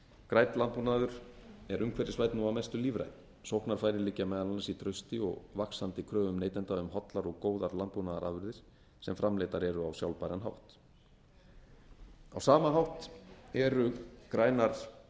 grænn landbúnaður er umhverfisvænn og að mestu lífrænn sóknarfæri liggja meðal annars í trausti og vaxandi kröfum neytenda um hollar og góðar landbúnaðarafurðir sem framleiddar eru á sjálfbæran hátt á sama hátt eru grænar